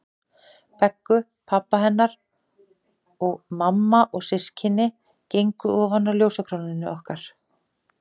Beggu, pabbi hennar og mamma og systkini gengu ofan á ljósakrónunni okkar.